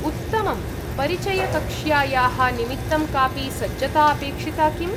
उत्तमम्! परिचयकक्ष्यायाः निमित्तं कापि सज्जता अपेक्षिता किम्?